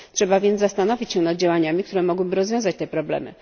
Trzeba więc zastanowić się nad działaniami, które mogłyby rozwiązać te problemy.